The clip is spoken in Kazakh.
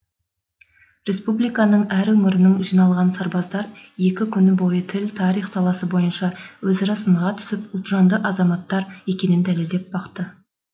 республиканың әр өңірінен жиналған сарбаздар екі күн бойы тіл тарих саласы бойынша өзара сынға түсіп ұлтжанды азаматтар екенін дәлелдеп бақты